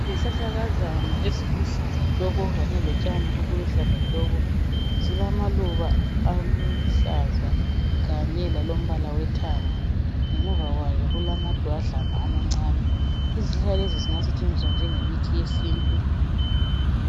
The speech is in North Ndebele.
Izihlahlakazana eziluhlaza tshoko kanye lotshaniobuluhlazatshoko. Zilamaluba aluhlaza kanye lalombala owethanga. Ngemuva kwazo kulamadwadlana amancane. Izihlahla lezi zingasetshenziswa njengomuthi wesintu